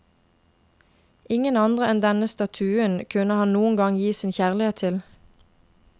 Ingen andre enn denne statuen kunne han noen gang gi sin kjærlighet til.